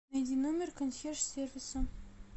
найди номер консьерж сервиса